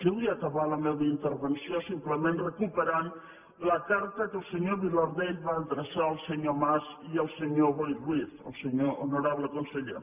jo vull acabar la meva intervenció simplement recuperant la carta que el senyor vilardell va adreçar al senyor mas i al senyor boi ruiz l’honorable conseller